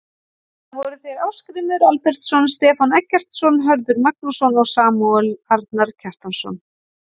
Það voru þeir Ásgrímur Albertsson, Stefán Eggertsson, Hörður Magnússon og Samúel Arnar Kjartansson.